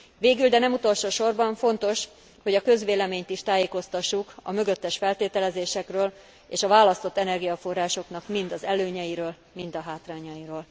Végül, de nem utolsó sorban fontos, hogy a közvéleményt is tájékoztassuk a mögöttes feltételezésekről és a választott energiaforrásoknak mind az előnyeiről, mind a hátrányairól.